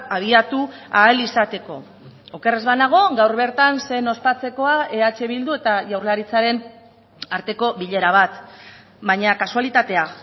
abiatu ahal izateko oker ez banago gaur bertan zen ospatzekoa eh bildu eta jaurlaritzaren arteko bilera bat baina kasualitatea